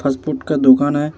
Fast food का दोकान है।